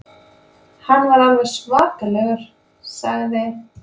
Hann var alveg svakalegur, sagði